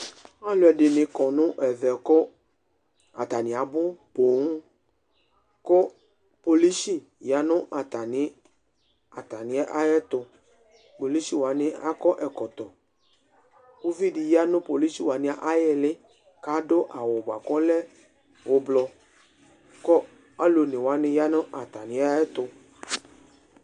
Alʋ ɛɖɩnɩ ƙɔ nʋ ɛvɛ ƙʋ atanɩ abʋ Polisi ƴa nʋ atamɩɛtʋPolisi wanɩ aƙɔ ɛƙɔtɔUviɖɩ ya nʋ polisi aƴɩhɩlɩ ƙ' aɖʋ awʋ bʋa kʋ ɔlɛ ʋblʋ ,ƙʋ alʋ one wanɩ ƴa nʋ atamɩɛtʋ